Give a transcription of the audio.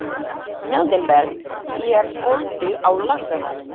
Mildinberg, er bolti á laugardaginn?